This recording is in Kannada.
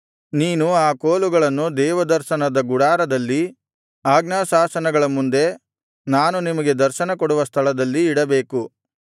ನೀನು ಆ ಕೋಲುಗಳನ್ನು ದೇವದರ್ಶನದ ಗುಡಾರದಲ್ಲಿ ಆಜ್ಞಾಶಾಸನಗಳ ಮುಂದೆ ನಾನು ನಿಮಗೆ ದರ್ಶನಕೊಡುವ ಸ್ಥಳದಲ್ಲಿ ಇಡಬೇಕು